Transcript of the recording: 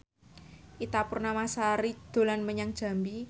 Ita Purnamasari dolan menyang Jambi